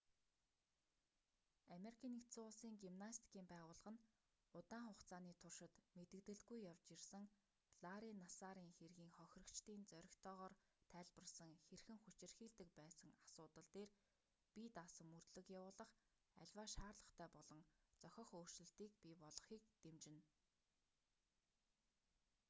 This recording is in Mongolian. ану-ын гимнастикийн байгууллага нь удаан хугацааны туршид мэдэгдэлгүй явж ирсэн ларри нассарын хэргийн хохирогчдын зоригтойгоор тайлбарласан хэрхэн хүчирхийлдэг байсан асуудал дээр бие даасан мөрдлөг явуулах аливаа шаардлагатай болон зохих өөрчлөлтийг бий болгохыг дэмжинэ